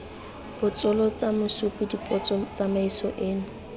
botsolotsa mosupi dipotso tsamaiso eno